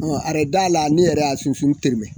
Ɔ araye da la, ne yɛrɛ y'a sunsunu tɛrɛmɛ.